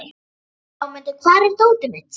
Hámundur, hvar er dótið mitt?